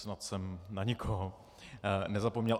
Snad jsem na nikoho nezapomněl.